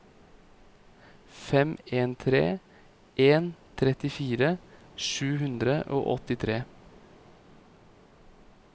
fem en tre en trettifire sju hundre og åttitre